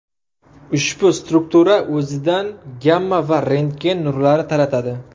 Ushbu struktura o‘zidan gamma va rentgen nurlari taratadi.